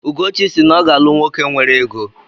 Ugochi si na ọ ga-alụ nwoke nwere ego.